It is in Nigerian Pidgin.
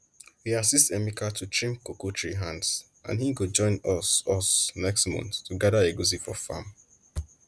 we assist emeka to trim cocoa tree hands and he go join us us next month to gather egusi for farm